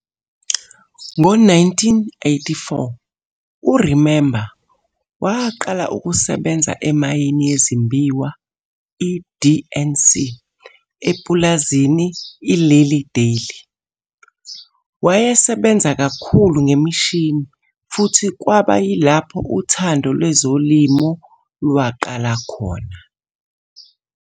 Ngo-1984 u-Remember waqala ukusebenza emayini yezimbiwa i-DNC epulazini i-Lilly Dale. Wayesebenza kakhulu ngemishini futhi kwaba yilapho uthando lwezolimo lwaqala khona.